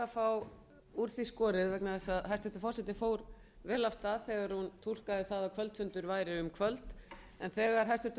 bara fá úr því skorið vegna þess að hæstvirtur forseti fór vel af stað þegar hún túlkaði það að kvöldfundir væru um kvöld en þegar hæstvirtur